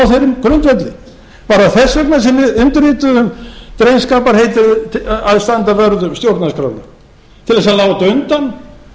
grundvelli var það þess vegna sem við undirrituðum drengskaparheitið um að standa vörð um stjórnarskrána til að láta undan og stíga til